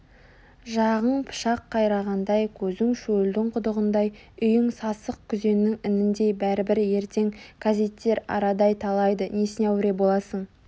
жағың пышақ қайрағандай көзің шөлдің құдығындай үйің сасық күзеннің ініндей бәрібір ертең кәзиттер арадай талайды несіне әуре боласың